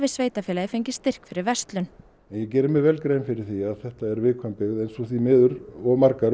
sveitarfélagið fengið styrk fyrir verslun ég geri mér grein fyrir því að þetta er viðkvæm byggð eins og því miður of margar